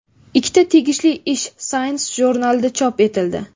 Ikkita tegishli ish Science jurnalida chop etildi .